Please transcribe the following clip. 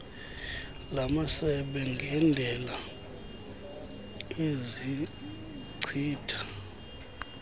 lamasebe ngendela ezichitha